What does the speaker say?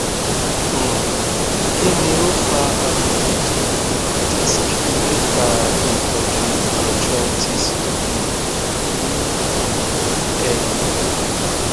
um kí ni o fa àrùn idikun disk nigbaa itoju arthritis um ni um ehin